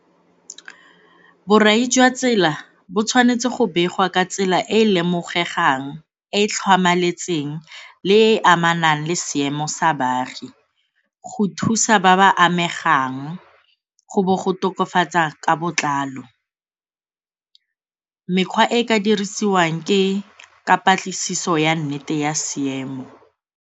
Borai jwa tsela bo tshwanetse go begwa ka tsela e e lemogegwang e e tlhamaletseng le e e amanang le seemo sa baagi go thusa ba ba amegang, go bo go tokafatsa ka botlalo. Mekgwa e e ka dirisiwang ke ka patlisiso ya nnete ya seemo.